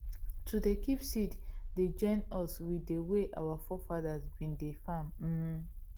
to dey kip seeds dey join us with dey way our forefathers bin dey farm um